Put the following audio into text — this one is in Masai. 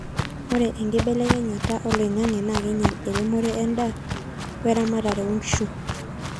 ore enkibelekenyata oloingangi na keinyel eremore endaa we eramatare oonkishu